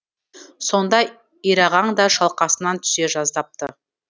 сонда ирағаң да шалқасынан түсе жаздапты